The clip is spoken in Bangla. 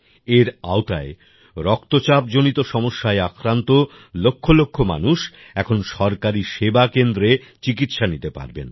এর আওতায় রক্তচাপজনিত সমস্যায় আক্রান্ত লক্ষ লক্ষ মানুষ এখন সরকারি সেবা কেন্দ্রে চিকিৎসা নিতে পারবেন